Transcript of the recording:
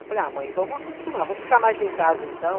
Eu falei, ah mãe, vamos acostumar, vou ficar mais em casa então.